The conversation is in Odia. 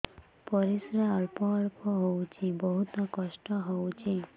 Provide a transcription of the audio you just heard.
ପରିଶ୍ରା ଅଳ୍ପ ଅଳ୍ପ ହଉଚି ବହୁତ କଷ୍ଟ ହଉଚି